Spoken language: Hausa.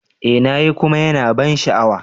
Eh na yi kuma yana da ban sha'awa.